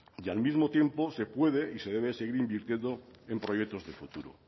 y al mismo tiempo se puede y se debe seguir invirtiendo en proyectos de futuro